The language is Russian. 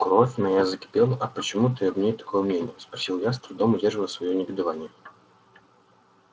кровь моя закипела а почему ты об ней такого мнения спросил я с трудом удерживая своё негодование